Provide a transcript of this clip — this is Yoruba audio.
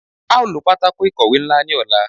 A o lo patako ikowe nla ni ọla